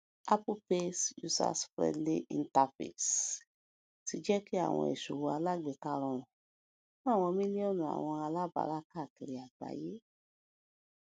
apple pays userfriendly interface ti jẹ ki awọn iṣowo alagbeka rọrun fun awọn miliọnu awọn alabara kakiri agbaye